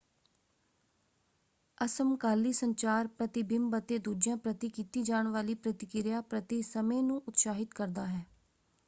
ਅਸਮਕਾਲੀ ਸੰਚਾਰ ਪ੍ਰਤੀਬਿੰਬ ਅਤੇ ਦੂਜਿਆਂ ਪ੍ਰਤੀ ਕੀਤੀ ਜਾਣ ਵਾਲੀ ਪ੍ਰਤੀਕਿਰਿਆ ਪ੍ਰਤੀ ਸਮੇਂ ਨੂੰ ਉਤਸਾਹਿਤ ਕਰਦਾ ਹੈ।